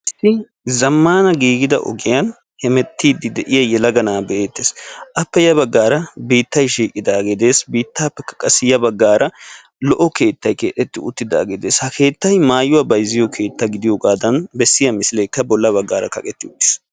issi zammana giigida ogiyani issi na"ay hemettidi de"iyage beettessi appe yabagara biitay shiqidage beettessi biittappekka qassi yabagara lo"o keettay beettessi ha keettaykka maayuwa bayziyo keeta gidiyooga qoncisiyaa misilekka bolla bagara xaafetidi uttissi.